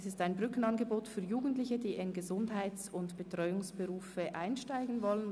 Es handelt sich um ein Brückenangebot für Jugendliche, die in Gesundheits- und Betreuungsberufe einsteigen wollen.